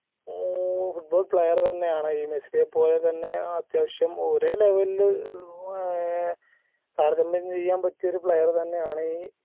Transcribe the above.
ഓ football player തന്നെ ആണ് ഈ മെസ്സിയെ പോലെ തന്നെ അത്യാവശ്യം ഒരേ level ല് ഏർ താരതമ്യം ചെയ്യാൻ പറ്റിയ ഒരു player തന്നെ ആണ് ഈ